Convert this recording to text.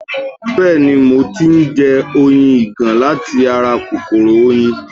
Bẹ́ẹ̀ni, mo ti ń jẹ oyin ìgàn láti ara kòkòrò oyin